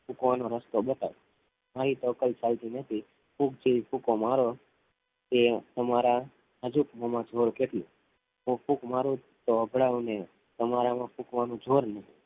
ફૂંકવાનો રસ્તો બતાવું અહી તો કઈ એનાથી કોઈ ફાયદો નથી ફૂંક જેવી ફૂંકો મારો તે તમારા નાજુક મો માં જોર કેટલું? હું ફૂંક મારું તો ઓગના ઓ ને તમારા માં ફુકવાન જોર નહિ